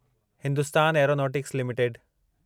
Hindustan Aeronautics limited